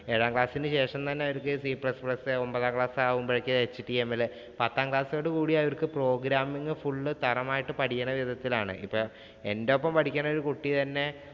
ഏഴാം class ഇന് ശേഷം അവർക്ക് c plus plus, ഒമ്പതാം class ആവുമ്പോഴേക്ക് HTML, പത്താം class ഓടു കൂടി അവര്‍ക്ക് programming full ഉം തറമായി പഠിക്കണ വിധത്തിലാണ്. ഇപ്പം എന്റെ ഒപ്പം തന്നെ പഠിക്കണ ഒരു കുട്ടി തന്നെ